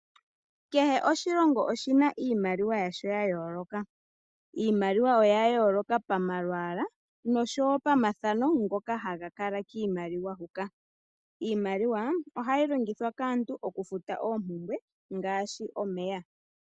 Kehe oshilongo oshi na iimaliwa yasho ya yooloka, iimaliwa oya yooloka pamalwaala noshowo pamathano ngoka haga kala kiimaliwa nohayi longithwa kaantu okufuta oompumbwe ngaashi omeya.